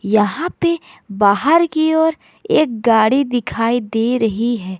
यहां पे बाहर की ओर एक गाड़ी दिखाई दे रही है।